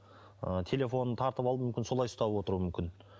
ы телефонын тартып алып мүмкін солай ұстап отыруы мүмкін